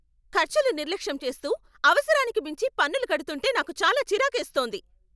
ఖర్చులు నిర్లక్ష్యం చేస్తూ, అవసరానికి మించి పన్నులు కడుతుంటే నాకు చాలా చిరాకేస్తోంది.